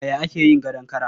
Yaya ake yin gadon kara?